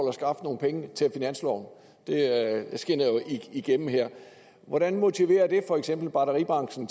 at skaffe nogle penge til finansloven det skinner jo igennem her hvordan motiverer det for eksempel batteribranchen